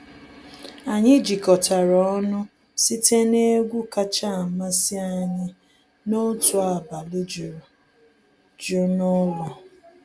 Anyị jikọtara ọnụ site n’egwu kacha amasị anyị n’otu abalị juru jụụ n’ụlọ.